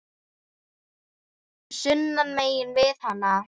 sunnan megin við hana.